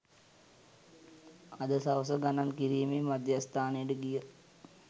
අද සවස ගණන් කිරීමේ මධ්‍යස්ථානයට ගිය